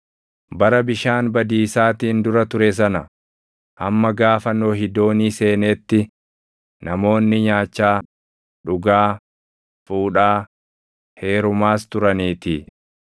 Bara bishaan badiisaatiin dura ture sana, hamma gaafa Nohi doonii seeneetti namoonni nyaachaa, dhugaa, fuudhaa, heerumaas turaniitii.